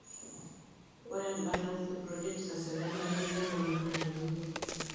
Ore empata e projects eserkali nemeeta maana te murua.